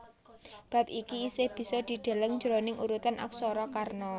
Bab iki isih bisa didelelng jroning urutan aksara Kana